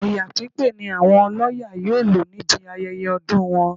Ọya pípé ni àwọn ọlọ́ya yóò lò níbi ayẹyẹ ọdún wọn